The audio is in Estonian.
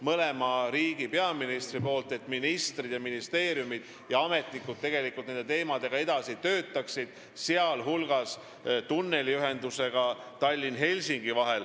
Mõlema riigi peaministrid soovivad, et ministrid, ministeeriumid ja ametnikud nende teemadega edasi töötaksid, sh tunneliühendusega Tallinna ja Helsingi vahel.